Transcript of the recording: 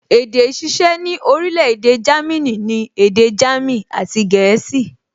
Èdè ìṣiṣẹ́ ní orílẹ̀-èdè Jámínì ni èdè jámìn àti gẹ̀ẹ́sì